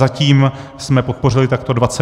Zatím jsme podpořili takto 22 ordinací.